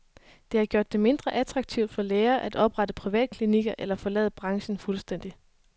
Det har gjort det mindre attraktivt for læger at oprette privatklinikker eller forlade branchen fuldstændig.